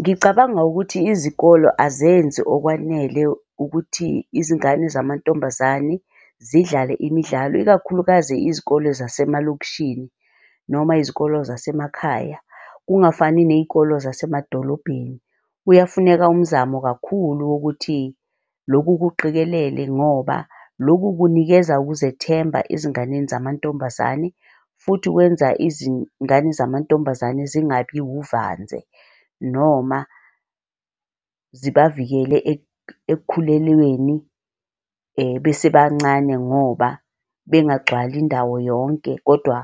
Ngicabanga ukuthi izikolo azenzi okwanele ukuthi izingane zamantombazane zidlale imidlalo, ikakhulukazi izikolo zasemalokishini, noma izikolo zasemakhaya kungafani ney'kolo zasemadolobheni. Kuyafuneka umzamo kakhulu wokuthi loku kuqikelele ngoba loku kunikeza ukuzethemba ezinganeni zamantombazane futhi wenza izingane zamantombazane zingabi wuvanze noma zibavikele ekukhulelweni besebancane ngoba bengagcwala indawo yonke, kodwa